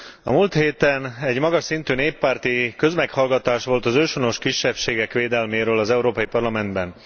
A múlt héten egy magas szintű néppárti közmeghallgatás volt az őshonos kisebbségek védelméről az Európai Parlamentben.